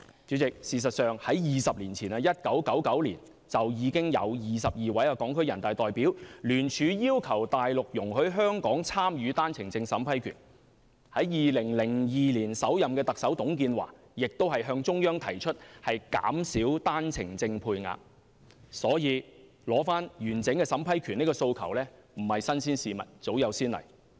主席，事實上在20年前，即1999年，已有22名港區人大代表聯署要求內地容許香港參與單程證審批權 ；2002 年首任特首董建華亦向中央提出減少單程證配額的要求，因此取回完整審批權的訴求絕非新鮮事物，早有先例。